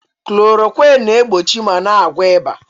Klorowịn na-egbochi ma na-agwọ ịba.